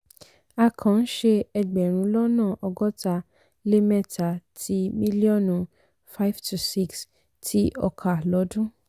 a kàn ń ṣe ẹgbẹ̀rún lọ́nà ọgọ́ta lé mẹ́ta ti mílíọ̀nù 5-6 ti ọkà lodun.